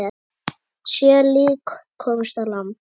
Sjö lík komust á land.